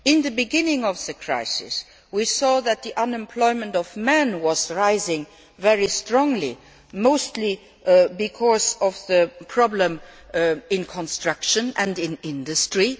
At the beginning of the crisis, we saw that male unemployment was rising very strongly, mostly because of the problems in construction and in industry.